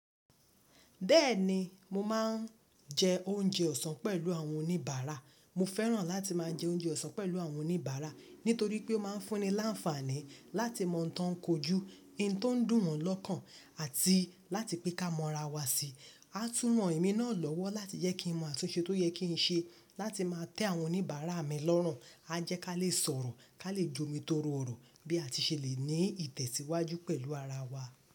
Bẹ́ẹ̀ni, mo máà ń jẹ oúnjẹ ọ̀sán pẹ̀lú àwọn oníbàárà. Mo fẹ́ràn láti máa jẹ oúnjẹ ọ̀sán pẹ̀lú àwọn oníbàárà nítorí pé ó máa ń fún ni láǹfààní láti mọ ǹ tan kojú, yin tó ń dùn wọn lọ́kàn àti láti pẹ́ ká mọ ra wa sí. A tún ran emi náà lọ́wọ́ láti yẹ kí n mọ àtunṣe tó yẹ kí n ṣe láti máa tẹ àwọn oníbàárà mi lọ́run. A jẹ́ ká lè sọ̀rọ̀, ká lè jomi torò ọ̀rọ̀ bí a ti ṣe lè ní ìtẹ̀síwájú pẹ̀lú ara wa.